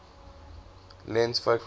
lens focal length